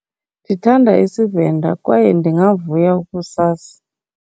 Ndithanda isiVenda kwaye ndingavuya ukusazi.